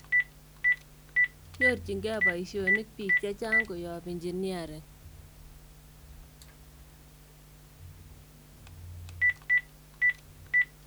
Nyorchin kee poishonik piik chechang koyop engineering